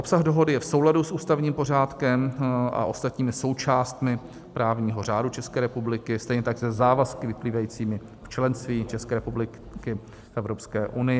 Obsah dohody je v souladu s ústavním pořádkem a ostatními součástmi právního řádu České republiky, stejně tak se závazky vyplývajícími z členství České republiky v Evropské unii.